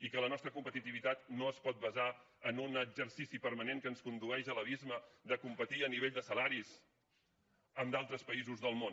i que la nostra competitivitat no es pot basar en un exercici permanent que ens condueix a l’abisme de competir a nivell de salaris amb d’altres països del món